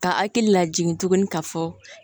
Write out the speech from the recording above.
Ka hakili lajigin tuguni ka fɔ